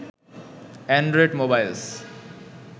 Android mobiles